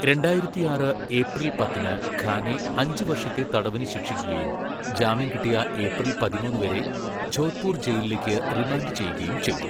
രണ്ടായിരത്തിയാറ് ഏപ്രിൽ പത്തിന് ഖാനെ അഞ്ച് വർഷത്തെ തടവിന് ശിക്ഷിക്കുകയും ജാമ്യം കിട്ടിയ ഏപ്രിൽ പതിമൂന്ന് വരെ ജോധ്പൂർ ജയിലിലേക്ക് റിമാൻഡ് ചെയ്യുകയും ചെയ്തു.